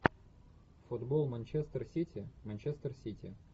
футбол манчестер сити манчестер сити